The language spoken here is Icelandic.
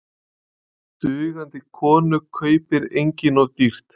Dugandi konu kaupir enginn of dýrt.